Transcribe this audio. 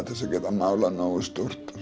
til að geta málað nógu stórt